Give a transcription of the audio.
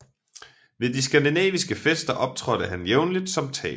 Ved de skandinaviske fester optrådte han jævnlig som taler